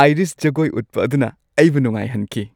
Irish ꯖꯒꯣꯏ ꯎꯠꯄ ꯑꯗꯨꯅ ꯑꯩꯕꯨ ꯅꯨꯡꯉꯥꯏꯍꯟꯈꯤ ꯫